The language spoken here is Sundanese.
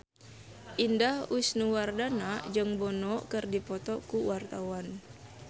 Indah Wisnuwardana jeung Bono keur dipoto ku wartawan